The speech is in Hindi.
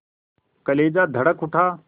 कलेजा धड़क उठा